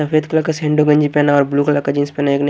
सफेद कलर का सेंडो गंजी पहना और ब्लू कलर का जीन्स पहना है एक ने --